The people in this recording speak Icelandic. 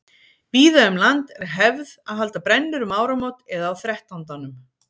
Víða um land er hefð að halda brennur um áramót eða á þrettándanum.